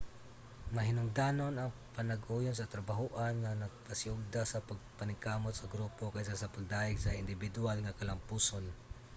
mahinungdanon ang panag-uyon sa trabahoan nga nagpasiugda sa pagpaningkamot sa grupo kaysa sa pagdayeg sa indibiduwal nga kalampusan